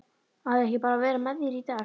Á ég ekki bara að vera með þér í dag?